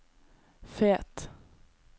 Fet